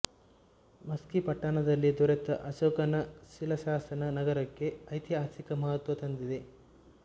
ಮಸ್ಕಿ ಪಟ್ಟಣದಲ್ಲಿ ದೊರೆತ ಅಶೋಕನ ಶಿಲಾಶಾಸನ ನಗರಕ್ಕೆ ಐತಿಹಾಸಿಕ ಮಹತ್ವ ತಂದಿದೆ